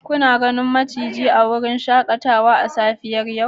Kuna ganin maciji a wurin shakatawa a safiyar yau